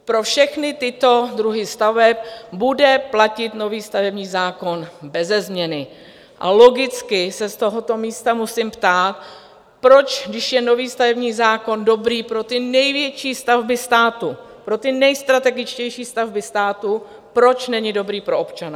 Pro všechny tyto druhy staveb bude platit nový stavební zákon beze změny a logicky se z tohoto místa musím ptát, proč, když je nový stavební zákon dobrý pro ty největší stavby státu, pro ty nejstrategičtější stavby státu, proč není dobrý pro občana?